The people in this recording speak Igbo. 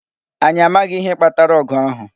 Anyị amaghị ihe kpatara ogu ahu